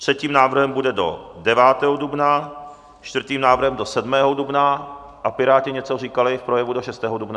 Třetím návrhem bude do 9. dubna, čtvrtým návrhem do 7. dubna a Piráti něco říkali v projevu do 6. dubna?